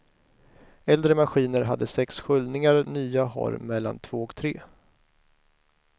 Äldre maskiner hade sex sköljningar, nya har mellan två och tre.